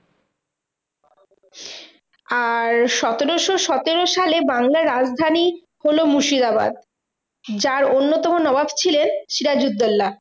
আর সতেরোশো সতেরো সালে বাংলার রাজধানী হলো মুর্শিদাবাদ। যার অন্যতম নবাব ছিলেন সিরাজউদ্দোল্লা।